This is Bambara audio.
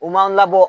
U man labɔ